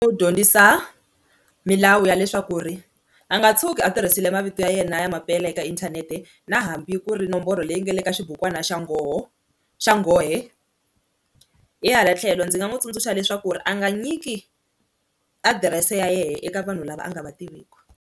Wu dyondzisa milawu ya leswaku ri a nga tshuki a tirhisile mavito ya yena ya mampela eka inthanete na hambi ku ri nomboro leyi nga le ka xibukwana xa nghoho xa nghohe, hi hala tlhelo ndzi nga n'wi tsundzuxa leswaku ri a nga nyiki adirese ya yehe eka vanhu lava a nga va tiviku.